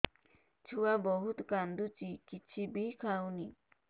ଛୁଆ ବହୁତ୍ କାନ୍ଦୁଚି କିଛିବି ଖାଉନି